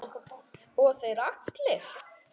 Og þeir allir!